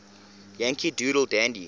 yankee doodle dandy